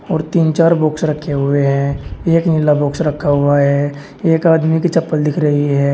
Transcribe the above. और तीन चार बॉक्स रखे हुए हैं एक नीला बॉक्स रखा हुआ है एक आदमी की चप्पल दिख रही है।